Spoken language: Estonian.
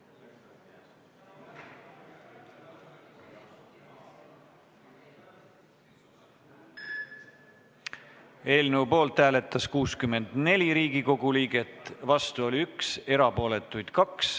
Hääletustulemused Eelnõu poolt hääletas 64 Riigikogu liiget, vastu oli 1, erapooletuid 2.